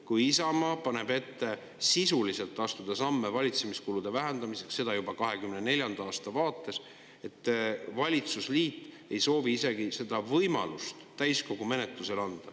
Kui Isamaa paneb ette astuda sisuliselt samme valitsemiskulude vähendamiseks, seda juba 2024. aasta vaates, siis valitsusliit ei soovi anda isegi võimalust selle täiskogus menetlemiseks.